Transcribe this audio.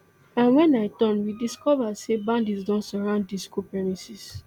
and wen i turn we discova say bandits don surround di school premises